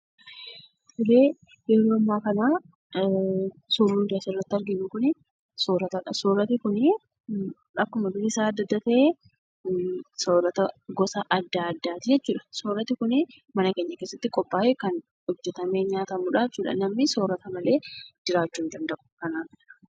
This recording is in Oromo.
Yeroo ammaa kana suuraa nuti asirratti arginu kuni soorata dha. Sooratni kunii akkuma bifisaa adda adda ta'e, soorata gosa adda addaati jechuudha. Sooratni kunii mana keenya keessatti qophaa'ee, kan hojjetamee nyaatamuudhaa jechuudha. Namni soorata malee jiraachuu hin danda'u.